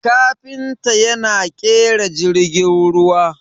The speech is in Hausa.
kafinta yana kera jirgin ruwa